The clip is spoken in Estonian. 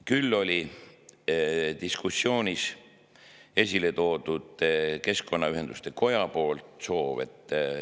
Küll oli diskussioonis esile toodud keskkonnaühenduste koja soov.